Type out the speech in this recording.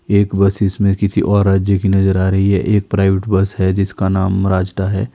एक बस इसमें किसी और राज्य की नजर आ रही है एक प्राइवेट बस है जिसका नाम राजडा है।